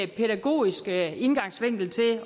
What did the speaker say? pædagogisk indgangsvinkel til